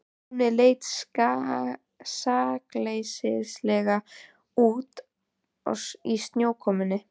Túnið leit sakleysislega út í snjókomunni.